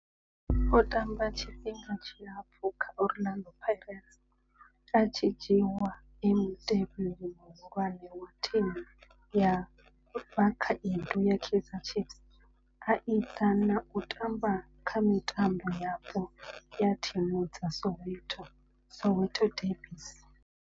O tamba tshifhinga tshilapfhu kha Orlando Pirates, a tshi dzhiiwa e mutevheli muhulwane wa thimu ya vhakhaedu ya Kaizer Chiefs, a ita na u tamba kha mitambo yapo ya thimu dza Soweto, Soweto derbies.